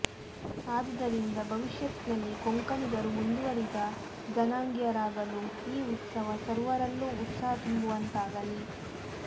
ಆದುದರಿದ ಭವಿಷ್ಯತ್ತಿನಲ್ಲಿ ಕೊಂಕಣಿಗರು ಮುಂದುವರಿದ ಜನಾಂಗೀಯರಾಗಲು ಈ ಉತ್ಸವ ಸರ್ವರಲ್ಲೂ ಉತ್ಸಹ ತುಂಬುವಂತಾಗಲಿ